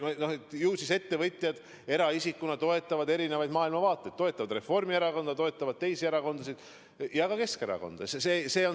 Ju siis ettevõtjad eraisikutena toetavad erinevaid maailmavaateid – toetavad Reformierakonda, toetavad teisi erakondasid ja ka Keskerakonda.